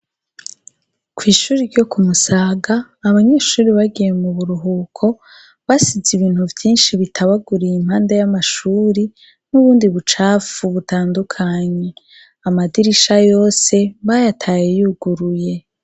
Kw'ishuri ryo kumusaga abanyeshuri bagiye mu buruhuko basize ibintu vyinshi bitabaguriye impanda y'amashuri n'ubundi bucapfu butandukanyi amadirisha yose bayataye yuguruye.